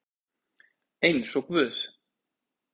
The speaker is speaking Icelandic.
Eins og guð